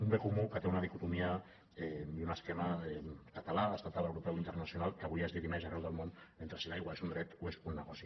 un bé comú que té una dicotomia i un esquema català estatal europeu internacional que avui es dirimeix arreu del món entre si l’aigua és un dret o és un negoci